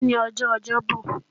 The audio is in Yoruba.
Òní ni ọjọ́ Ọjọ́bo̩